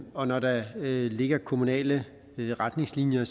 og når der ligger kommunale retningslinjer